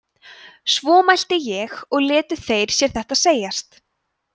svo mælti ég og létu þeir sér þetta segjast